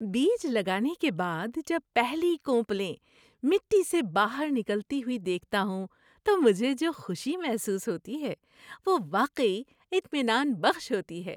بیج لگانے کے بعد جب پہلی کونپلیں مٹی سے باہر نکلتی ہوئی دیکھتا ہوں تو مجھے جو خوشی محسوس ہوتی ہے وہ واقعی اطمینان بخش ہوتی ہے۔